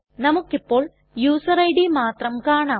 നമുക്കിപ്പോൾ user ID മാത്രം കാണാം